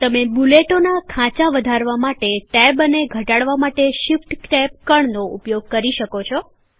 તમે બુલેટોના ખાચા વધારવા માટે ટૅબ અને ઘટાડવા માટે શિફ્ટ ટેબ કળનો ઉપયોગ કરી શકો છો